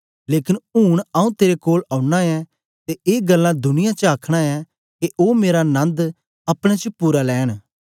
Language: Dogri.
लेकन ऊन आऊँ तेरे कोल औना ऐं ते ए गल्लां दुनिया च आखना ऐं के ओ मेरा नन्द अपने च पूरा लैंन